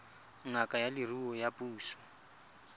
ngaka ya leruo ya puso